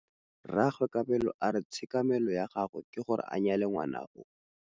Rragwe Kabelo a re tshekamêlô ya gagwe ke gore a nyale ngwaga o.